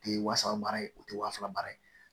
O tɛ wasa baara ye o tɛ wa fila baara ye